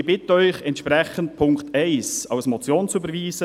Ich bitte Sie entsprechend, den Punkt 1 als Motion zu überweisen.